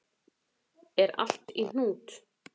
Er allt í hnút?